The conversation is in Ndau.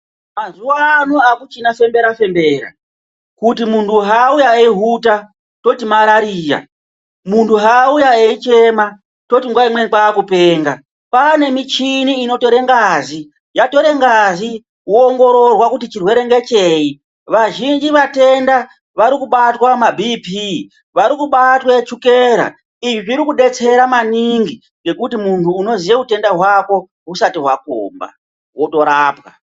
Mazuwano akuchina fembera fembera kuti muntu haauya eihwuta toti marariya muntu eichema toti nguva imweni kwakupenga kwane michini inotore ngazi yatora ngazi woongororwa kuti chirwere ngecheyi . Vazhinji vatenda varikubatwa maBP varikubatwa chukela izvi zvirikudetsera maningi ngekuti muntu unoziya hwutenda hwako hwusati hwakomba wotorapwa.